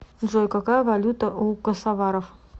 джой какая валюта у косоваров